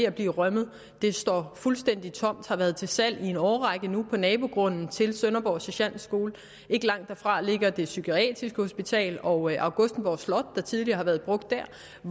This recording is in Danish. at blive rømmet det står fuldstændig tomt og har været til salg i en årrække nu på nabogrunden til sønderborg sergentskole ikke langt derfra ligger det psykiatriske hospital og augustenborg slot der tidligere har været brugt der